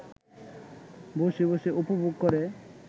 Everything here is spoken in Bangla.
বসে বসে উপভোগ করে